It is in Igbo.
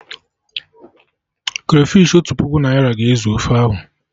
Krafish Otu puku naira ga-ezu ofe ahụ